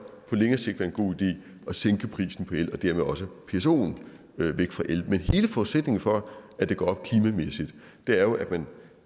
på længere sigt være en god idé at sænke prisen på el og dermed også få psoen væk fra el men hele forudsætningen for at det går op klimamæssigt er jo at man